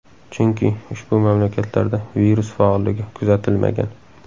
Chunki, ushbu mamlakatlarda virus faolligi kuzatilmagan.